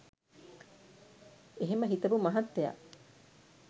එහෙම හිතපු මහත්තය